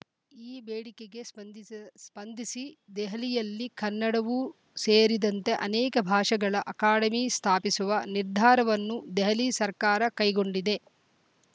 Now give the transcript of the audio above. ಈ ಬೇಡಿಕೆಗೆ ಸ್ಪಂದಿಸ್ ಸ್ಪಂದಿಸಿ ದೆಹಲಿಯಲ್ಲಿ ಕನ್ನಡವೂ ಸೇರಿದಂತೆ ಅನೇಕ ಭಾಷೆಗಳ ಅಕಾಡೆಮಿ ಸ್ಥಾಪಿಸುವ ನಿರ್ಧಾರವನ್ನು ದೆಹಲಿ ಸರ್ಕಾರ ಕೈಗೊಂಡಿದೆ